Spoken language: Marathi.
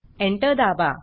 एंटर दाबा